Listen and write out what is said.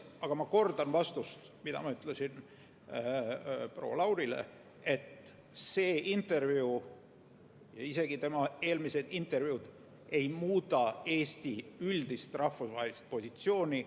Aga ma kordan vastust, mille ma andsin proua Laurile, et see intervjuu ja ka tema eelmised intervjuud ei muuda Eesti üldist rahvusvahelist positsiooni.